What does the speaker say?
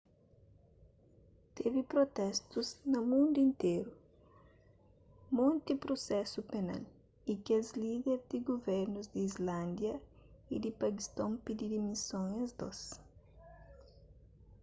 tevi protestus na mundu interu monti prusesu penal y kes líder di guvernus di islándia y di pakiston pidi dimison es dôs